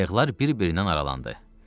Qayıqlar bir-birindən aralandı.